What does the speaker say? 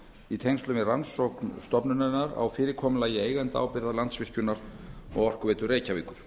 í tengslum við rannsókn stofnunarinnar á fyrirkomulagi eigendaábyrgða landsvirkjunar og orkuveitu reykjavíkur